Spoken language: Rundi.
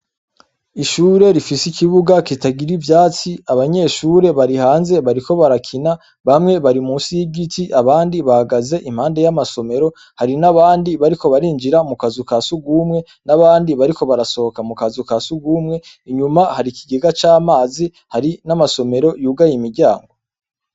Ishure rifise ikibuga kitagira ivyatsi, abanyeshure bari hanze bariko barakina bamwe bari munsi y’igiti abandi bahagaze impande y’amasomero, hari n’abandi bariko barinjira mukazu ka sugumwe n’abandi bariko barasohoka mukazu ka sugumwe, inyuma hari ikigega c’amazi hari n’amasomero yugaye imiryango.